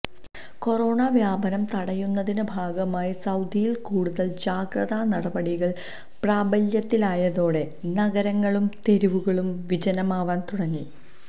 corona വ്യാപനം തടയുന്നതിന്റെ ഭാഗമായി സൌദിയിൽ കൂടുതൽ ജാഗ്രതാ നടപടികൾ പ്രാബല്യത്തിലായതോടെ നഗരങ്ങളും തെരുവുകളും വിജനമാവാൻ തുടങ്ങി